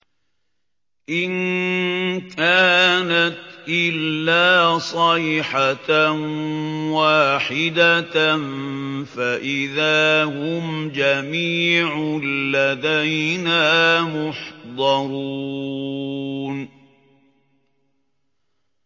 إِن كَانَتْ إِلَّا صَيْحَةً وَاحِدَةً فَإِذَا هُمْ جَمِيعٌ لَّدَيْنَا مُحْضَرُونَ